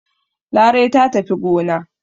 Larai ta tafi gona.